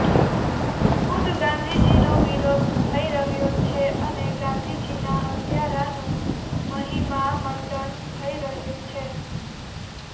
ખુદ ગાંધીજીનો વિરોધ થઇ રહ્યો છે અને ગાંધીજીનાં હત્યારાનું મહિમા મંડન થઇ રહ્યું છે